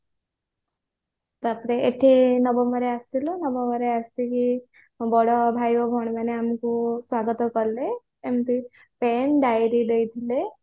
ତାପରେ ଏଠି ନବମ ରେ ଆସିଲୁ ନବମରେ ଆସିକି ବଡ ଭାଇ ଓ ଭଉଣୀ ମାନେ ଆମକୁ ସ୍ଵାଗତ କଲେ ଏମିତି pen diary ଦେଇଥିଲେ